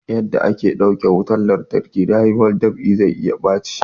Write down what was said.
Yarda ake ta ɗauke wutan lantarki na'urar dab'i zai iya baci